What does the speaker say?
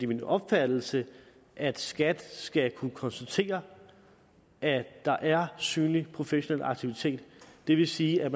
min opfattelse at skat skal kunne konstatere at der er synlig professionel aktivitet det vil sige at